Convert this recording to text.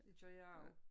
Det gør jeg også